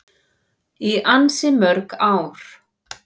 Í ansi mörg ár.